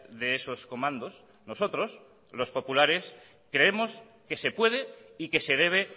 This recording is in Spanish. de esos comandos nosotros los populares creemos que se puede y que se debe